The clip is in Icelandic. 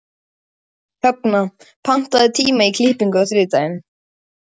Högna, pantaðu tíma í klippingu á þriðjudaginn.